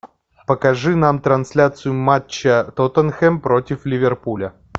покажи нам трансляцию матча тоттенхэм против ливерпуля